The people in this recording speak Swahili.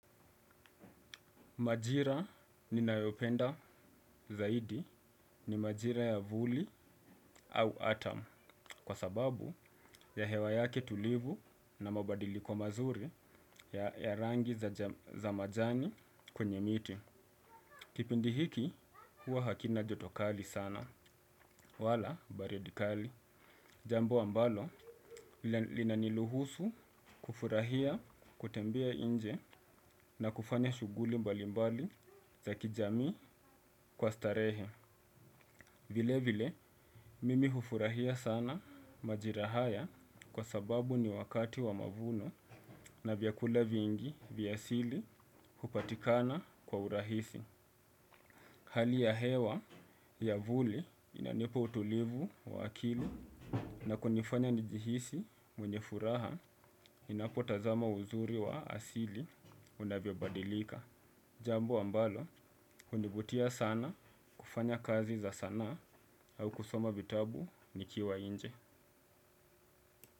Majira ninayopenda zaidi ni majira ya vuli au autum kwa sababu ya hewa yake tulivu na mabadili kwa mazuri ya rangi za majani kwenye miti. Kipindi hiki huwa hakina joto kali sana wala baridi kali. Jambo ambalo linani luhusu kufurahia kutembia inje na kufanya shuguli mbali mbali za kijamii kwa starehe. Vile vile, mimi hufurahia sana majira haya kwa sababu ni wakati wa mavuno na vyakula vingi vya asili hupatikana kwa urahisi. Hali ya hewa ya vuli inanipa utulivu wa akili na kunifanya njihisi mwenye furaha ninapotazama uzuri wa asili unavyo badilika. Jambo ambalo, hunivutia sana kufanya kazi za sanaa au kusoma vitabu nikiwa inje.